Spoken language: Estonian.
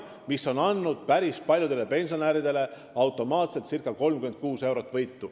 See on andnud päris paljudele pensionäridele automaatselt võitu circa 36 eurot.